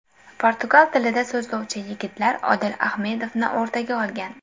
Portugal tilida so‘zlashuvchi yigitlar Odil Ahmedovni o‘rtaga olgan.